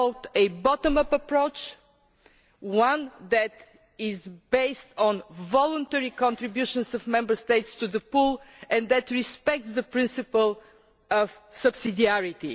We have followed a bottom up approach, one that is based on voluntary contributions by Member States to the pool and that respects the principle of subsidiarity.